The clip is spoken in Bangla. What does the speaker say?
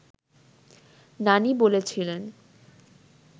নানি বলেছিলেন